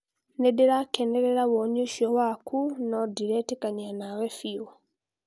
Nĩndĩrakenerera woni ũcio waku nũ ndĩretekanĩria nawe biũ